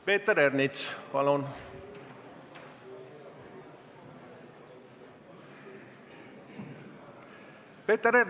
Peeter Ernits, palun!